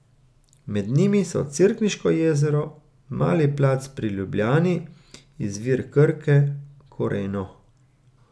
Med njimi so cerkniško jezero, Mali plac pri Ljubljani, izvir Krke, Koreno ...